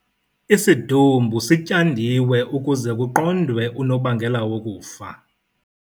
Isidumbu sityandiwe ukuze kuqondwe unobangela wokufa